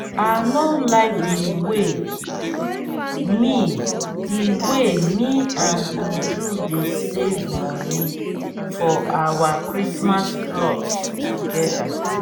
i no like the way me the way me and uju dey save money for our christmas cloth together